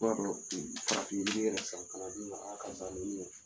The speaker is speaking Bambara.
I b'a dɔn farafin yiri yɛrɛ san kana d'i ma karisa nin minɛ.